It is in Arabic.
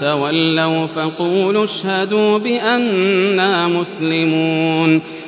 تَوَلَّوْا فَقُولُوا اشْهَدُوا بِأَنَّا مُسْلِمُونَ